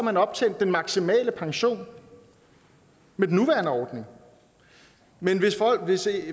har optjent den maksimale pension med den nuværende ordning men hvis